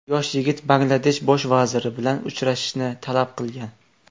Yosh yigit Bangladesh bosh vaziri bilan uchrashishni talab qilgan.